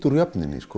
úr jöfnunni